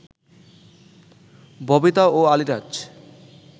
ববিতা ও আলীরাজ